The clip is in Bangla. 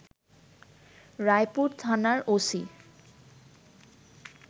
রায়পুর থানার ওসি